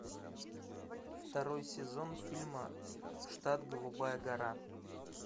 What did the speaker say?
второй сезон фильма штат голубая гора